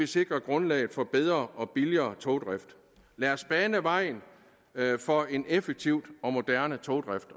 sikrer grundlaget for bedre og billigere togdrift lad os bane vejen for en effektiv og moderne togdrift